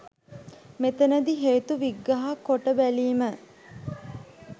මෙතනදී හේතු විග්‍රහකොට බැලීම